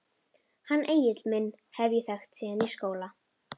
Hann Egil minn hef ég þekkt síðan í skóla.